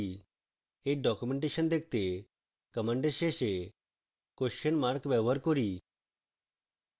we documentation দেখতে command শেষে question mark ব্যবহার করি